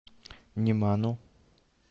неману